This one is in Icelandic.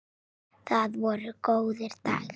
Það voru góðir dagar.